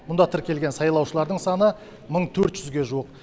мұнда тіркелген сайлаушылардың саны мың төрт жүзге жуық